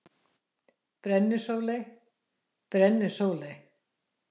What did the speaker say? Brennisóley: Brennisóley.